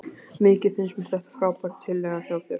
Mikið finnst mér þetta frábær tillaga hjá þér.